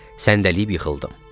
Səndəyib yıxıldım.